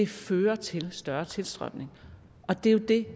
fører til større tilstrømning det er jo det